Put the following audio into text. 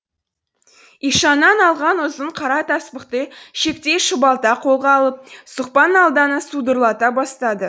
ишаннан алған ұзын қара таспықты шектей шұбалта қолға алып сұқпан алданы судырлата бастады